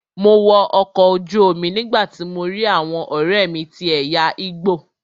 Mo wọ ọkọ̀ ojú omi nígbàtí mo lọ rí àwọn ọ̀rẹ́mi tí ẹ̀yà igbo.